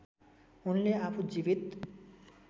उनले आफू जीवित